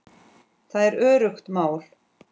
Það er öruggt mál.